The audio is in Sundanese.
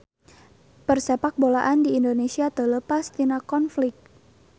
Persepakbolaan di Indonesia teu leupas tina konflik